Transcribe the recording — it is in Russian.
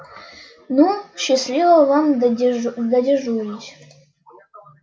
ну счастливо вам додежурить